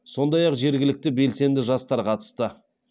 сондай ақ жергілікті белсенді жастар қатысты